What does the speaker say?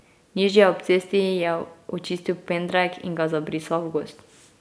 Nižje ob cesti je očistil pendrek in ga zabrisal v gozd.